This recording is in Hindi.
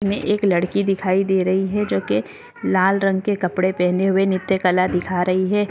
मे एक लडकी दिखाई दे रही है जोके लाल रंग के कपडे पेहने हुए नृत्य कला दिखा रही है।